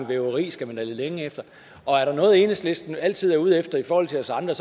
væveri skal man da lede længe efter og er der noget enhedslisten altid er ude efter i forhold til os andre